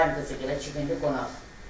Dayım qızı gilə çi gindir qonaq.